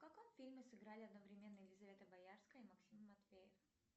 в каком фильме сыграли одновременно елизавета боярская и максим матвеев